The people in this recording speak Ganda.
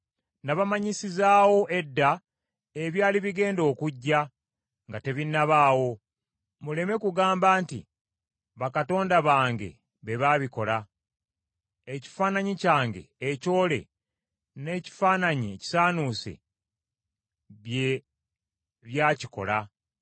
Nabamanyisizaawo edda ebyali bigenda okujja nga tebinnabaawo, muleme kugamba nti, “Bakatonda bange be baabikola: Ekifaananyi kyange ekyole n’ekifaananyi ekisaanuuse bye byakikola.”